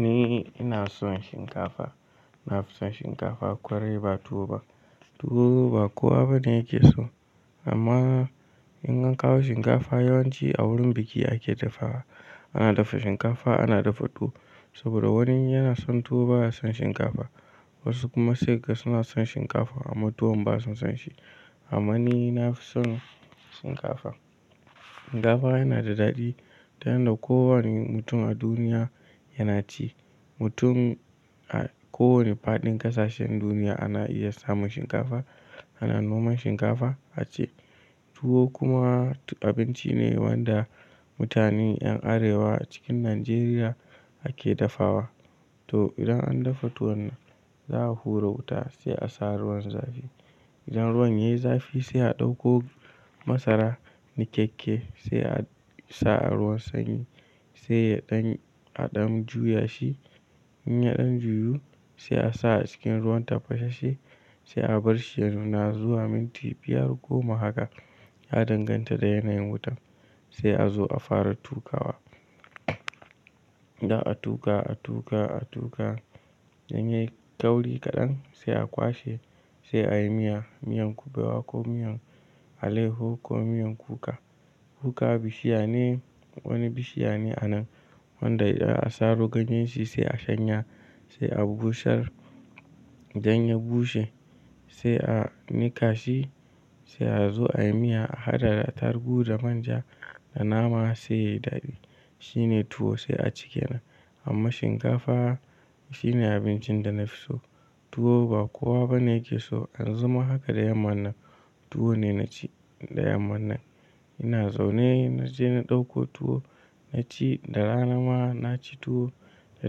Ni ina son shinkafa, na fi son shinkafa kwai ba tuwo ba. Tuwo ba kowa bane yake so. Amma in an kawo shinkafa yawanci a wurin biki ake dafawa. Ana dafa shinkafa, ana dafa tuwo saboda wani yana son tuwo baya son shinkafa. Wasu kuma sai ga suna son shinkafa amma tuwon ba su son shi. Amma ni na fi son shinkafa. Shinkafa yana da daɗi, ta yanda kowane mutum a duniya yana ci. Mutum a kowane faɗin ƙasashen duniya ana iya samun shinkafa, ana noman shinkafa a ci. Tuwo kuma abinci ne wanda mutane yan Arewa cikin Najeriya ake dafawa. To idan an dafa tuwon za a hura wuta sai a sa ruwan zafi. Idan ruwan yayi zafi sai a ɗauko masara ni keke sai a sa a ruwan sanyi, sai ya ɗan aɗamu juyashi. In ya ɗan juyu sai a sa a cikin ruwan tafashe sai a barshi ya nuna zuwa minti biyar go mahaka ya danganta da yanayin wutan sai a zo a fara tukawa. Da a tuka, a tuka, a tuka in yayi kauri kaɗan sai a kwashe sai a yi miya, miyan kubewa ko miyan alehu ko miyan kuka. Kuka bishiya ne, wani bishiya ne a nan wanda idan a saro ganyen shi sai a shanya sai a bushar, idan ya bushe sai a niƙa shi sai a zo ayi miya a hada da tarugu da manja da nama sai yayi daɗi. Shine tuwo sai a ci ke nan. Amma shinkafa shine abincin da na fi so. Tuwo ba kowa bane yake so. Yan zuma haka da yamman nan tuwo ne na ci da yamman nan. Ina zaune na je na ɗauko tuwo na ci da rana ma na ci tuwo, da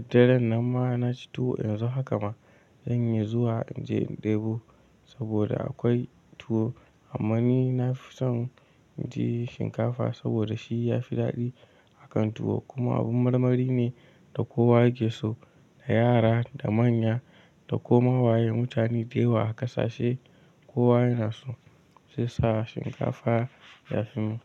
daren nan ma na ci tuwo. Yanzu haka ma zan iya zuwa in je in ɗebo saboda akwai tuwo. Amma ni na fi son in ci shinkafa saboda shi ya fi daɗi akan tuwo kuma abin marmari ne da kowa yake so, da yara, da manya, da koma waye mutane daya wa ƙasashe kowa yana so sai sa shinkafa ya fi mu.